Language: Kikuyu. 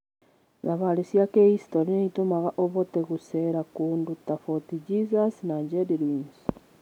Thabarĩ cia kĩhicitorĩ nĩ itũmaga ũhote gũceera kũndũ ta Fort Jesus na Gedi Ruins.